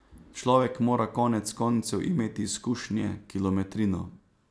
Človek mora konec koncev imeti izkušnje, kilometrino.